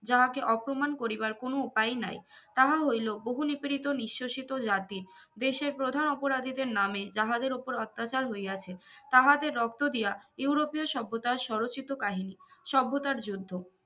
যাহাকে অপমান করিবার কোনো উপায়ই নাই তাহা হইল বহু নিপীড়িত নিশ্বসিত জাতির দেশের প্রধান অপরাধীদের নামে যাহাদের ওপর অত্যাচার হইয়াছে তাহাদের রক্ত দিয়া ইউরোপীয় সভ্যতার সরো চিতো কাহিনী সভ্যতার যুদ্ধ